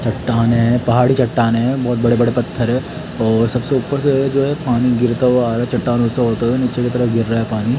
चट्टाने हैं पहाडी चट्टाने हैं बहोत बड़े-बड़े पत्थर है और सबसे ऊपर से जो है पानी गिरता हुआ आ रहा चट्टानो से होते हुए नीचे की तरफ गिर रहा है पानी --